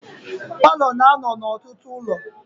Paalọ na-anụ n'ọtụtụ ụlọ.